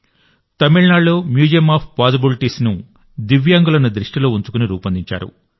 తమిళనాడులో museum of possibilities ను దివ్యాంగులను దృష్టిలో ఉంచుకుని రూపొందించారు